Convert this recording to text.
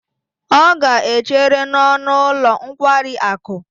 Ọ ga-echere n'ọnụ ụlọ nkwari akụ.